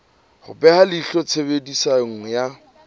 ho beha leihlo tshebediso ya